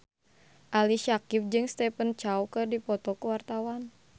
Ali Syakieb jeung Stephen Chow keur dipoto ku wartawan